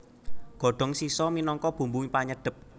Godhong shiso minangka bumbu panyedhep